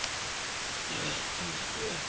здравствуйте